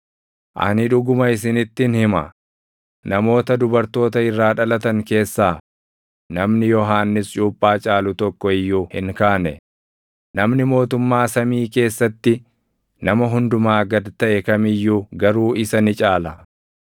Ani dhuguma isinittin hima; namoota dubartoota irraa dhalatan keessaa namni Yohannis Cuuphaa caalu tokko iyyuu hin kaane; namni mootummaa samii keessatti nama hundumaa gad taʼe kam iyyuu garuu isa ni caala.